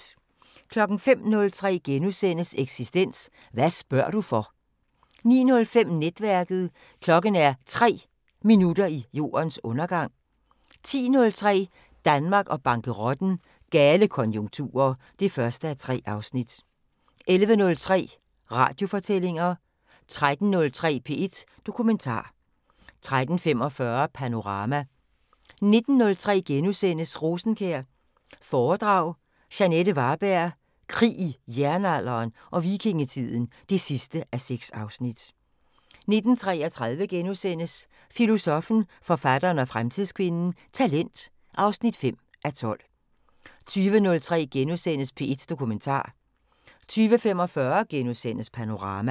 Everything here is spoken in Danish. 05:03: Eksistens: Hvad spørger du for? * 09:05: Netværket: Klokken er 3 minutter i jordens undergang 10:03: Danmark og bankerotten: Gale konjunkturer (1:3) 11:03: Radiofortællinger 13:03: P1 Dokumentar 13:45: Panorama 19:03: Rosenkjær foredrag – Jeanette Varberg: Krig i Jernalderen og Vikingetiden (6:6)* 19:33: Filosoffen, forfatteren og fremtidskvinden: Talent (5:12)* 20:03: P1 Dokumentar * 20:45: Panorama *